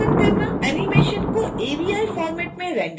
animation को avi format में render करना